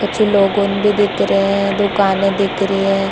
कुछ लोगों भी दिख रहे है दुकाने दिख रही है।